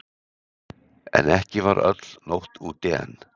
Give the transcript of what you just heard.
En ekki var öll nótt úti enn.